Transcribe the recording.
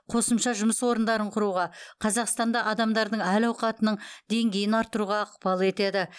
қосымша жұмыс орындарын құруға қазақстанда адамдардың әл ауқатының деңгейін арттыруға ықпал етеді